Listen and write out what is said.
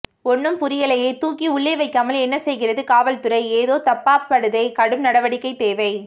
ஒன்னும் புரியலையே தூக்கி உள்ளே வைக்காமல் என்ன செய்கிறது காவல்துறை ஏதோ தப்பா படுதே கடும் நடவடிக்கை தேவை